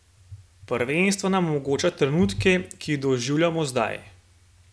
Prvenstvo nam omogoča trenutke, ki jih doživljamo zdaj.